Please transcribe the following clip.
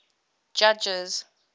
judges